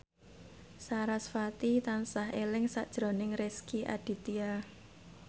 sarasvati tansah eling sakjroning Rezky Aditya